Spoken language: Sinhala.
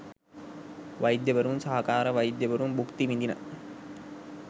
වෛද්‍යවරුන් සහකාර වෛද්‍යවරුන් භුක්ති විදින